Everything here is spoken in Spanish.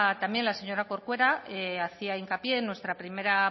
también la señora corcuera hacía hincapié en nuestra primera